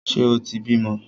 Ṣe o tí bímọ?